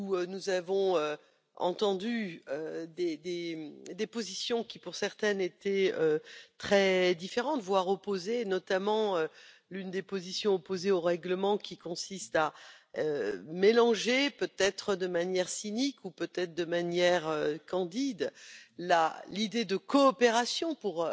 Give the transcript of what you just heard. Nous avons entendu des positions qui, pour certaines, étaient très différentes, voire opposées, notamment l'une des positions opposées au règlement qui consiste à mélanger peut être de manière cynique ou peut être de manière candide l'idée de coopération pour